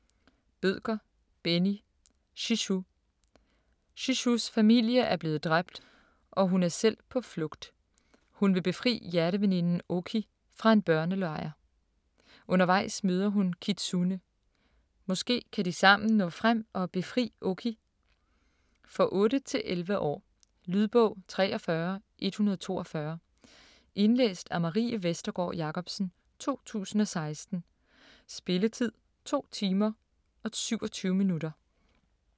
Bødker, Benni: Shishu Shishus familie er blevet dræbt og hun er selv på flugt. Hun vil befri hjerteveninden Oki fra en børnelejr. Undervejs møder hun Kitsune. Måske kan de sammen nå frem og befri Oki? For 8-11 år. Lydbog 43142 Indlæst af Marie Vestergård Jacobsen, 2016. Spilletid: 2 timer, 27 minutter.